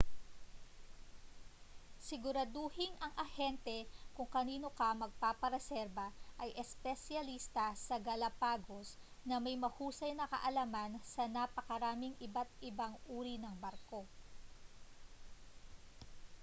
siguraduhing ang ahente kung kanino ka magpapareserba ay espesyalista sa galapagos na may mahusay na kaalaman sa napakaraming iba't-ibang uri ng barko